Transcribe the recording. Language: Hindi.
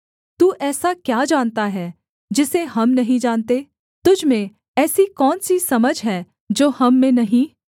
तू ऐसा क्या जानता है जिसे हम नहीं जानते तुझ में ऐसी कौन सी समझ है जो हम में नहीं